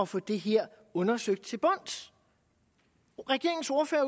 få det her undersøgt til bunds regeringens ordførere